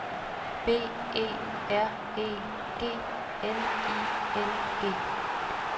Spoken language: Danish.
B E R E G N I N G